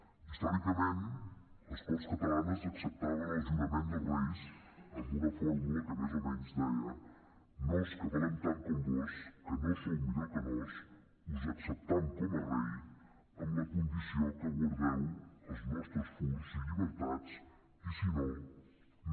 històricament les corts catalanes acceptaven el jurament dels reis amb una fórmula que més o menys deia nos que valem tant com vós que no sou millor que nos us acceptam com a rei amb la condició que guardeu els nostres furs i llibertats i si no no